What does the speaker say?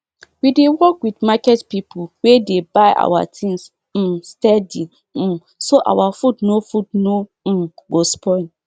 we dey work with market people wey dey buy our things um steady um so our food no food no um go spoil